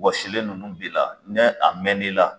Wasilen ninnu b'i la ni a mɛn n'l la